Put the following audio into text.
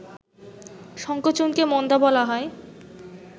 সংকোচনকে মন্দা বলা হয়